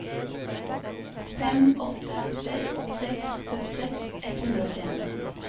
fem åtte seks seks syttiseks ett hundre og åttien